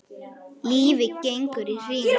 Lífið gengur í hringi.